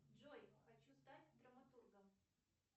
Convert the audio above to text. джой хочу стать драматургом